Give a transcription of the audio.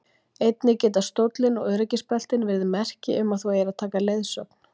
Einnig geta stóllinn og öryggisbeltin verið merki um að þú eigir að taka leiðsögn.